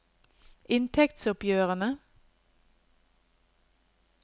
inntektsoppgjørene